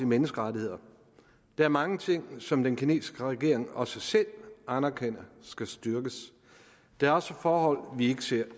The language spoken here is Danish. menneskerettigheder der er mange ting som den kinesiske regering også selv anerkender skal styrkes der er også forhold vi ikke ser